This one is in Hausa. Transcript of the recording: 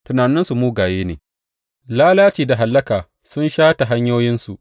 Tunaninsu mugaye ne; lalaci da hallaka sun shata hanyoyinsu.